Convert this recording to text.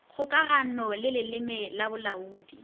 kgokagano le leleme la bolaodi